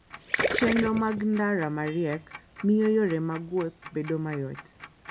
Chenro mag ndara ma riek miyo yore mag wuoth bedo mayot.